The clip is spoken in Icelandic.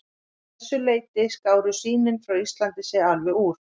Að þessu leyti skáru sýnin frá Íslandi sig alveg úr.